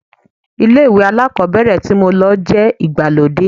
Ilé ìwé alákọ̀ọ́bẹ̀rẹ̀ tí mo lọ jẹ́ ìgbàlódé.